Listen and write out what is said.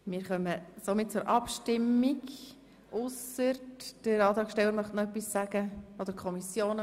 Wir kommen zur Abstimmung, es sei denn, der Antragsteller oder die Kommissionssprechenden wünschen das Wort?